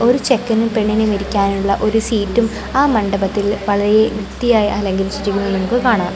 ഒരു ചെക്കനും പെണ്ണിനും ഇരിക്കാനുള്ള ഒരു സീറ്റും ആ മണ്ഡബത്തിൽ വളരെ വൃത്തി ആയി അലങ്കരിചിരിക്കുന്നത് നമുക്ക് കാണാം